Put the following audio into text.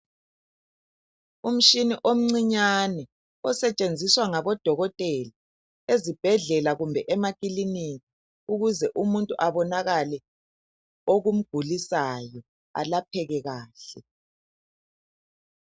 Umshini omncinyane osetshenziswa ngabodokotela ezibhedlela kumbe emakilinika ukuze umuntu abonakale okumgulisayo elapheke kahle